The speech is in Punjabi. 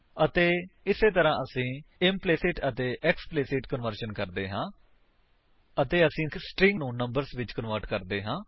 ਅਤੇ ਇਸੇ ਤਰ੍ਹਾਂ ਅਸੀ ਇੰਪਲੀਸਿਟ ਅਤੇ ਐਕਸਪਲਿਸਿਟ ਕਨਵਰਜਨ ਕਰਦੇ ਹਾਂ ਅਤੇ ਕਿਵੇਂ ਅਸੀ ਸਟਰਿੰਗ ਨੂੰ ਨੰਬਰਸ ਵਿੱਚ ਕਨਵਰਟ ਕਰਦੇ ਹਾਂ